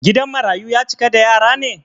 Gidan marayu ya cika da yara ne?